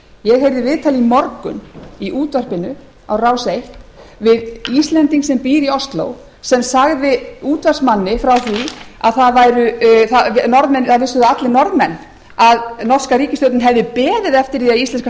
ég heyrði viðtal í morgun í útvarpinu á rás eitt við íslending sem býr í ósló sem sagði útvarpsmanni frá því að það vissu það allir norðmenn að norska ríkisstjórnin hefði beðið eftir því að